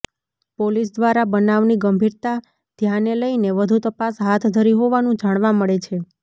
police દ્વારા બનાવની ગંભીરતા ધ્યાને લઈને વધુ તપાસ હાથ ધરી હોવાનું જાણવા મળે છે